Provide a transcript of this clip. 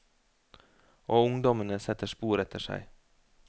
Og ungdommene setter spor etter seg.